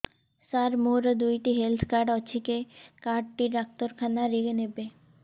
ସାର ମୋର ଦିଇଟା health card ଅଛି କେ କାର୍ଡ ଟି ଡାକ୍ତରଖାନା ରେ ନେବେ